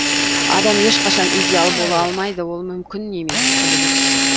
адам ешқашан идеал бола алмайды ол мүмкін емес құбылыс